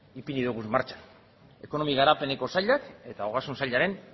ipini ditugu martxan ekonomia garapenerako sailak eta ogasun sailaren